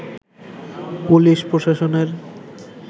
police প্রশাসনের